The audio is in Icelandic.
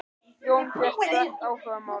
Jón fékk strax áhuga á málinu.